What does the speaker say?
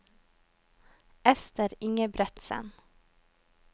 Esther Ingebretsen